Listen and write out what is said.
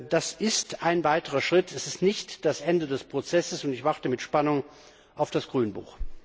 Das ist ein weiterer Schritt, das ist nicht das Ende des Prozesses, und ich warte mit Spannung auf das Grünbuch.